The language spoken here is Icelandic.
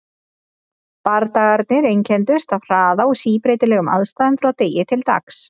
Bardagarnir einkenndust af hraða og síbreytilegum aðstæðum frá degi til dags.